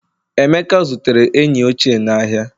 emeka zutere enyi ochie n'ahịa